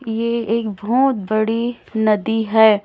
ये एक बहोत बड़ी नदी है।